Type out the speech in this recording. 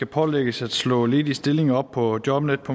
pålægges at slå ledige stillinger op på jobnetdk